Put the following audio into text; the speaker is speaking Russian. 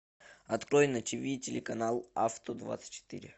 открой на тв телеканал авто двадцать четыре